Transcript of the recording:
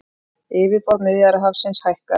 Yfirborð Miðjarðarhafsins hækkar